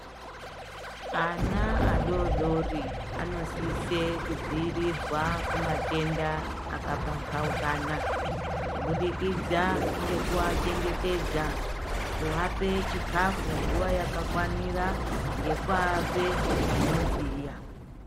Ana adodori anosisire kudzivirirwa kumatenda akapambaukana kubudikidza ngekuwachengetedza kuvapa chikafu nguva yakafanira ngekuapa zvinodziya.